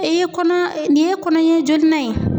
E ye kɔnɔ, nin ye kɔnɔɲɛ jolinan ye?